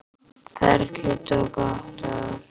Ferlið tók átta ár.